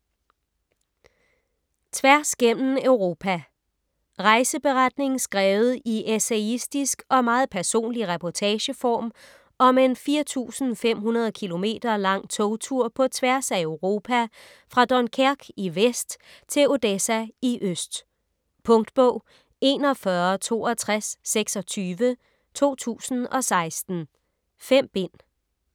Tværs gennem Europa Rejseberetning skrevet i essayistisk og meget personlig reportageform om en 4500 km lang togtur på tværs af Europa fra Dunkerque i vest til Odessa i øst. Punktbog 416226 2016. 5 bind.